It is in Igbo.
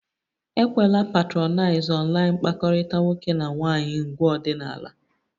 Ekwela patronize online mkpakọrịta nwoke na nwaanyị ngwa ọdịnala!